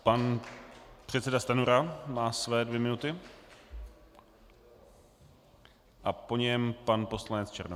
Pan předseda Stanjura má své dvě minuty a po něm pan poslanec Černoch.